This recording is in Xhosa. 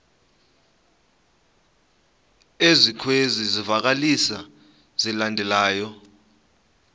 ezikwezi zivakalisi zilandelayo